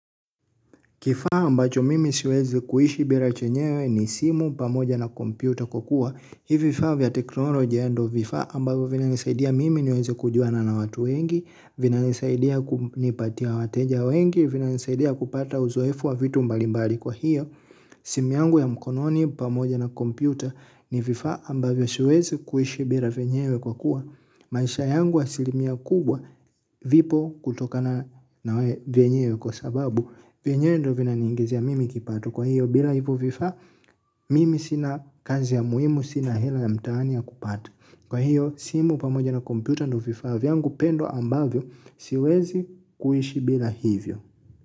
Kifaa ambacho mimi siwezi kuishi bila chenyewe ni simu pamoja na kompyuta kwa kuwa. Hivi vifaa vya teknolojia ndo vifaa ambavyo vina nisaidia mimi niweze kujuana na watu wengi, vinanisaidia kunipatia wateja wengi, vinanisaidia kupata uzoefu wa vitu mbalimbali kwa hiyo. Simu yangu ya mkononi pamoja na kompyuta ni vifaa ambavyo siwezi kuishi bila vyenyewe kwa kuwa. Maisha yangu asilimia kubwa vipo kutokana vyenyewe kwa sababu. Vyenyewe ndo vinaniingizia mimi kipato. Kwa hiyo bila hivo vifa mimi sina kazi ya muhimu. Sina hela ya mtaani ya kupata. Kwa hiyo simu pamoja na kompyuta ndo vifaa vyangu pendo ambavyo siwezi kuishi bila hivyo.